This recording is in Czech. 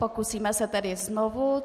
Pokusíme se tedy znovu.